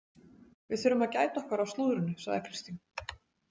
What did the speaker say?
Við þurfum að gæta okkar á slúðrinu, sagði Kristín.